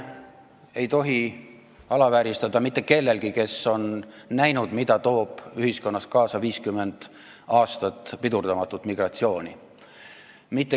Ei tohi alavääristada mitte kellegi emotsioone, kes on näinud, mida toob ühiskonnas kaasa 50 aastat pidurdamatut migratsiooni.